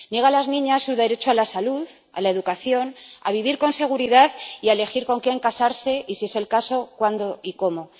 Niega a las niñas su derecho a la salud, a la educación, a vivir con seguridad y a elegir con quién casarse y, si es el caso, cuándo y cómo.